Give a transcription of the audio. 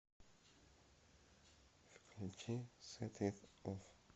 включи сэт ит офф